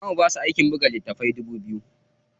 Za mu basu aikin buga littatafai dubu biyu.